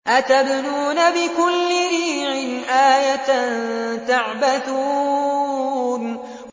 أَتَبْنُونَ بِكُلِّ رِيعٍ آيَةً تَعْبَثُونَ